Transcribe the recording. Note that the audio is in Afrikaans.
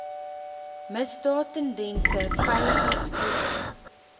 misdaad tendense veiligheidskwessies